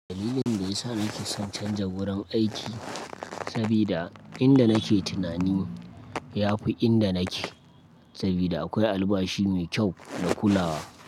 Dalilin da yasa nake son canja wurin aiki sabida inda nake tunani yafi inda nake, sabida akwai albashi mai kyau da kulawa.